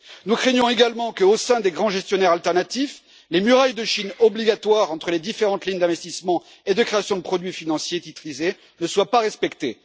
Nous craignons également que, au sein des grands gestionnaires alternatifs, les murailles de Chine obligatoires entre les différentes lignes d'investissement et de création de produits financiers titrisés ne soient pas respectées.